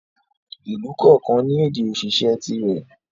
Ìlú kọ̀ọ̀kan ní ède òṣìṣẹ́ tìrẹ.